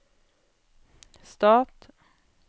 stat